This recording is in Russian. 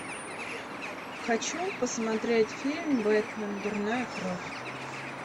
хочу посмотреть фильм бэтмен дурная кровь